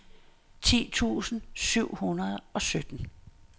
ti tusind syv hundrede og sytten